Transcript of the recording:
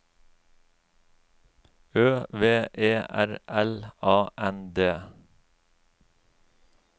Ø V E R L A N D